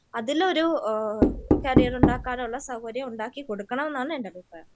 അതിലൊരു കരിയർ ഉണ്ടാകാനുള്ള സൗകര്യം ഉണ്ടാക്കി കൊടുക്കണം എന്നാണ് എൻ്റെ അഭിപ്രായം.